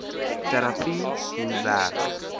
terapie hoe werk